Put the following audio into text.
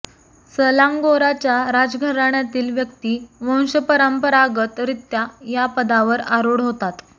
सलांगोराच्या राजघराण्यातील व्यक्ती वंशपरंपरागत रित्या या पदावर आरूढ होतात